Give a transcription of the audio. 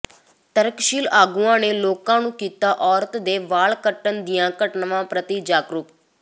ਤਰਕਸ਼ੀਲ ਆਗੂਆਂ ਨੇ ਲੋਕਾਂ ਨੂੰ ਕੀਤਾ ਔਰਤ ਦੇ ਵਾਲ ਕੱਟਣ ਦੀਆਂ ਘਟਨਾਵਾਂ ਪ੍ਰਤੀ ਜਾਗਰੂਕ